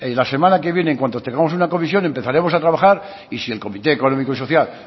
la semana que viene en cuanto tengamos una comisión empezaremos a trabajar y si el comité económico y social